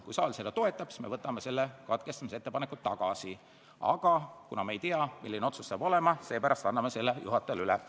Kui saal seda toetab, siis me võtame katkestamisettepaneku tagasi, aga kuna me ei tea, milline otsus tehakse, anname selle praegu siiski juhatajale üle.